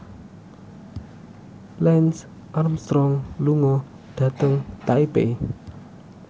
Lance Armstrong lunga dhateng Taipei